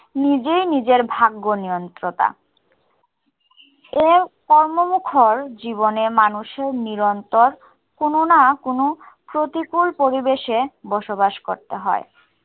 নিজেই নিজের ভাগ্য নিয়ন্ত্রতা। এ কর্মমুখর জীবনে মানুষের নিরন্তর কোনো না কোnO প্রতিকুল পরিবেশে বসবাস করতে হয়।